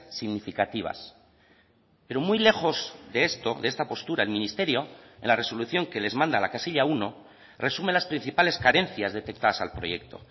significativas pero muy lejos de esto de esta postura el ministerio en la resolución que les manda la casilla uno resume las principales carencias detectadas al proyecto